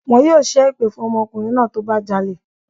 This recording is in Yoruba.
Wọn yóò ṣẹ́ èpè fún ọmọkùnrin náà tó bá jalè